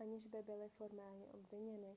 aniž by byli formálně obviněni